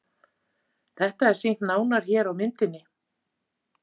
Þetta er sýnt nánar hér á myndinni.